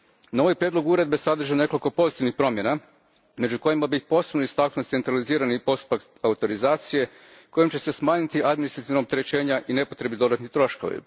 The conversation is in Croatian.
No ovaj prijedlog uredbe sadrži nekoliko pozitivnih promjena među kojima bih posebno istaknuo centralizirani postupak autorizacije kojim će se smanjiti administrativna opterećenja i nepotrebni dodatni troškovi.